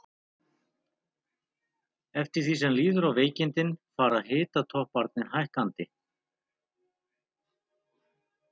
Eftir því sem líður á veikindin fara hitatopparnir hækkandi.